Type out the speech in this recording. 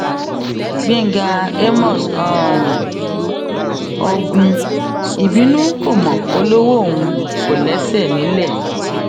gbẹngà àmos um ọgùn ìbínú kò mọ polówó òun um kò lẹsẹ nílẹ